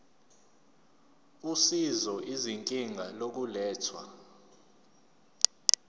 usizo izinga lokulethwa